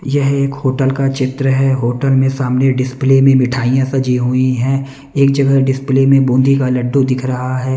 यह एक होटल का चित्र है होटल में सामने डिस्प्ले में मिठाइयां सजी हुई हैं एक जगह डिस्प्ले में बूंदी का लड्डू दिख रहा है।